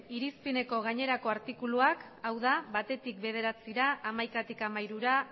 irizpeneko gainerako artikuluak hau da batetik bederatzira hamaikatik hamairura